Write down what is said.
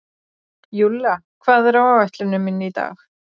Júlla, hvað er á áætluninni minni í dag?